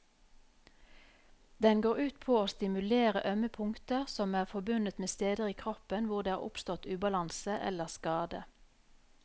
Den går ut på å stimulere ømme punkter som er forbundet med steder i kroppen hvor det har oppstått ubalanse eller skade.